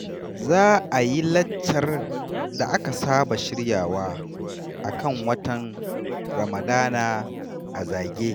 Za a yi laccar da aka saba shiryawa a kan watan Ramadana a Zage.